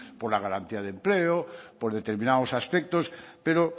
por la garantía de empleo por determinados aspectos pero